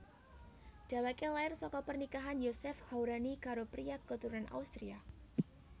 Dhèwèké lair saka pernikahan Youssef Hourani karo priya katurunan Austria